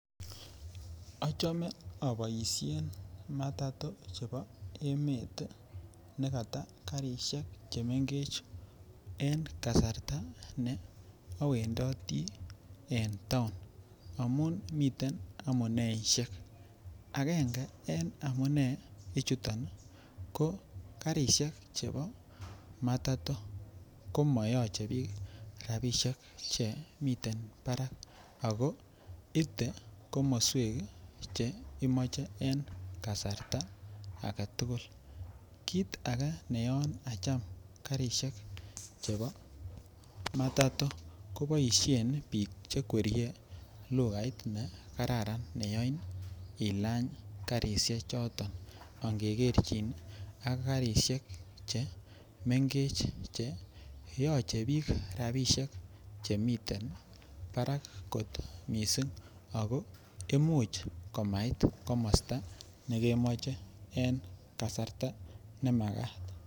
Ochome o boishen matatu chebo emet nekata garishek chemegech en kasarta ne owendoti en toun amun miten amuneishek, angenge en amune ichuton ko garishek chebo matato ko moyoche biik rabishek che miten Barak ako ite komoswek che imoche en kasarta agetugul. Kit age neyon acham garishek chebo matato ko boishen biik che kwerie lukait ne kararan me yoin ilany garishek choton angegerjin ak garishek che mengech che yoche biik rabishek che miten Barak kot missing ako imuch komait komosto ne kemoche en kasarta ne makat